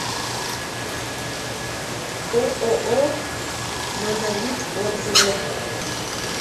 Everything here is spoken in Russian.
ооо монолит отзывы